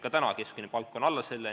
Ka täna on keskmine palk alla selle.